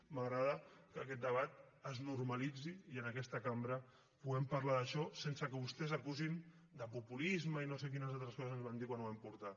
m’agrada que aquest debat es normalitzi i en aquesta cambra puguem parlar d’això sense que vostès acusin de populisme i no sé quines altres coses ens van dir quan ho vam portar